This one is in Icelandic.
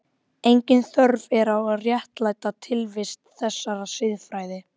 Engin þörf er á að réttlæta tilvist þessarar siðfræði.